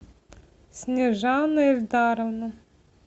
снежана ильдаровна